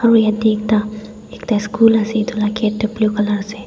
aro yete ekta ekta ischool asey etu la kate du blue colour asey.